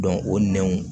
o nɛnw